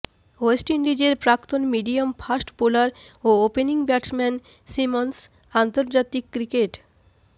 West ইন্ডিজের প্রাক্তন medium fast bowler ও ওপেনিং ব্যাটসম্যান সিমন্স আন্তর্জাতিক ক্রিকেট